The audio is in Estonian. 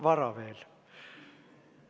Vara veel.